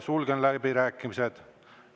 Sulgen läbirääkimised.